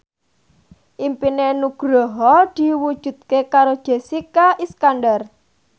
impine Nugroho diwujudke karo Jessica Iskandar